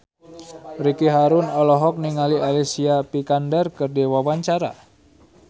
Ricky Harun olohok ningali Alicia Vikander keur diwawancara